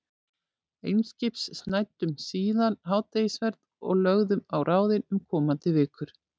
Eimskips, snæddum síðan hádegisverð og lögðum á ráðin um komandi vikur.